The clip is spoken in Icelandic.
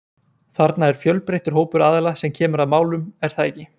Þarna er fjölbreyttur hópur aðila sem kemur að málum er það ekki?